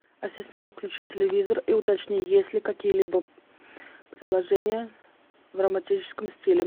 ассистент включи телевизор и уточни есть ли какие либо предложения в романтическом стиле